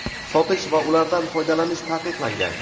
sotish va ulardan foydalanish taqiqlangan.